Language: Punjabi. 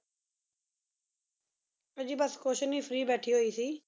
ਉਹ ਜੀ ਬੱਸ ਕੁੱਝ ਨਹੀਂ free ਬੈਠੀ ਹੋਈ ਸੀ।